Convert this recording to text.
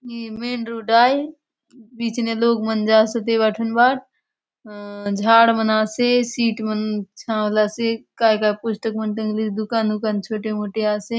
ए main road आय बीच ने लोक मन जासोत एबाट हुन बाट ह झाड़ मन आसे सीट मन छावंलासे काय - काय पुस्तक मन टंगलीसे दुकान हुकान छोटे मोटे आसे।